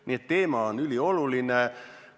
Nii et teema on ülioluline.